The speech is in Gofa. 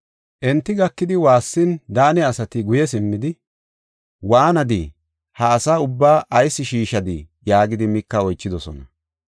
Enta gakidi waassin, Daane asati guye simmidi, “Waanadii? Ha asa ubbaa ayis shiishadii?” yaagidi Mika oychidosona.